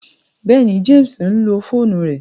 Bẹẹni, James nlo foonu rẹ